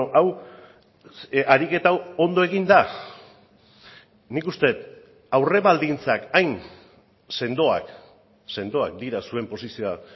hau ariketa hau ondo egin da nik uste dut aurre baldintzak hain sendoak sendoak dira zuen posizioa